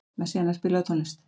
Messíana, spilaðu tónlist.